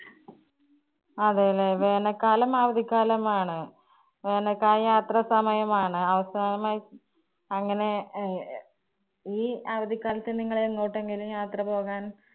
അതെല്ലേ. വേനൽ കാലം അവധി കാലം ആണ്, വേനൽ കാലം യാത്ര സമയം ആണ്. അവസാനമായി അങ്ങനെ അഹ് ഈ അവധികാലത്ത് നിങ്ങൾ എങ്ങോട്ടെങ്കിലും യാത്ര പോകാൻ